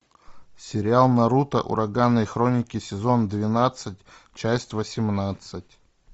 сериал наруто ураганные хроники сезон двенадцать часть восемнадцать